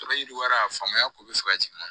Sɔrɔ yiriwara faamuya ko bɛ fɛ ka jigin